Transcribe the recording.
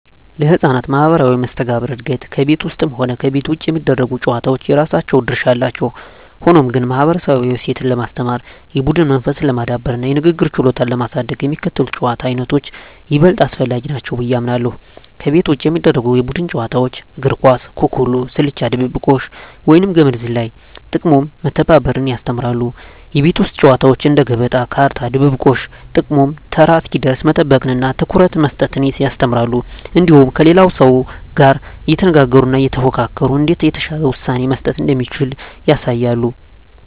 ለሕፃናት ማኅበራዊ መስተጋብር እድገት ከቤት ውስጥም ሆነ ከቤት ውጭ የሚደረጉ ጨዋታዎች የራሳቸው ድርሻ አላቸው። ሆኖም ግን፣ ማኅበረሰባዊ እሴትን ለማስተማር፣ የቡድን መንፈስን ለማዳበርና የንግግር ችሎታን ለማሳደግ የሚከተሉት የጨዋታ ዓይነቶች ይበልጥ አስፈላጊ ናቸው ብዬ አምናለሁ፦ ከቤት ውጭ የሚደረጉ የቡድን ጨዋታዎች እግር ኳስ፣ ኩኩሉ፣ ስልቻ ድብብቆሽ፣ ወይም ገመድ ዝላይ። ጥቅሙም መተባበርን ያስተምራሉ። የቤት ውስጥ ጨዋታዎች እንደ ገበጣ፣ ካርታ፣ ድብብቆሽ… ጥቅሙም ተራ እስኪደርስ መጠበቅንና ትኩረት መስጠትን ያስተምራሉ። እንዲሁም ከሌላው ሰው ጋር እየተነጋገሩና እየተፎካከሩ እንዴት የተሻለ ውሳኔ መስጠት እንደሚቻል ያሳያሉ።